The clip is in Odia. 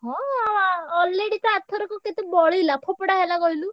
ହଁ ଆ ଅ already ତ ଆରଥରକ କେତେ ବଳିଲା ଫୋପଡା ହେଲା କହିଲୁ?